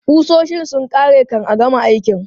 Ƙusoshin sun ƙare kan a gama aikin.